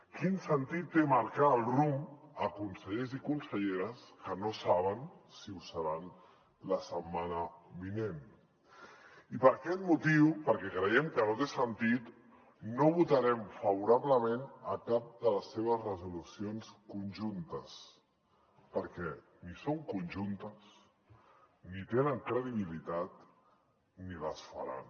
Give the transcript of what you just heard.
quin sentit té marcar el rumb a consellers i conselleres que no saben si ho seran la setmana vinent i per aquest motiu perquè creiem que no té sentit no votarem favorablement a cap de les seves resolucions conjuntes perquè ni són conjuntes ni tenen credibilitat ni les faran